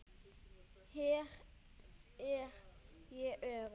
Hér er ég örugg.